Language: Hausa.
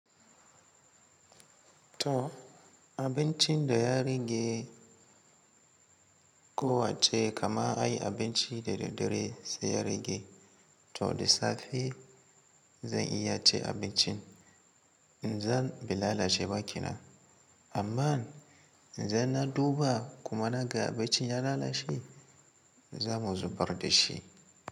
To abincin da ya rage kowa ce, kama ai abinci da daddare sai ya rage. To da safe zan iya cin abincin, idan bai lalacewa kenan. Amma idan na duba kuma naga abincin ya lalace, za mu zubar da shi.